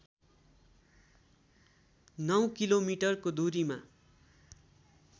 नौ किलोमिटरको दूरीमा